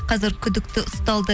қазір күдікті ұсталды